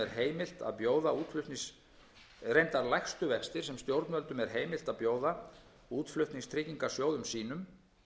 án nokkurs vaxtaálags vextir eru lægstu vextir sem stjórnvöldum er heimilt að bjóða útflutningstryggingarsjóðum sínum